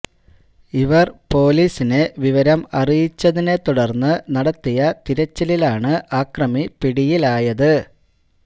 ഇവർ പൊലീസിനെ വിവരം അറിയിച്ചതിനെ തുടർന്ന് നടത്തിയ തിരച്ചിലിലാണ് ആക്രമി പിടിയിലായത്